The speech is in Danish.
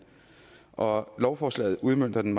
og lovforslaget udmønter den